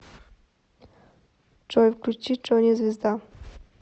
джой включи джони звезда